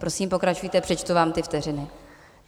Prosím, pokračujte, přičtu vám ty vteřiny.